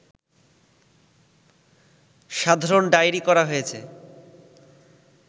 সাধারণ ডায়রি করা হয়েছে